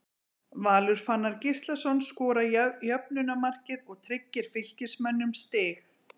Valur Fannar Gíslason skorar jöfnunarmarkið og tryggir Fylkismönnum stig.